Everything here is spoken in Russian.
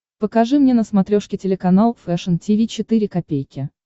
покажи мне на смотрешке телеканал фэшн ти ви четыре ка